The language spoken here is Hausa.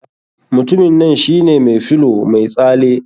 Mutumin nan shine mai filow mai tsale.